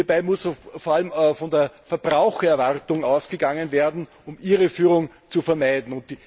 Hierbei muss vor allem von der Verbrauchererwartung ausgegangen werden, um Irreführung zu vermeiden.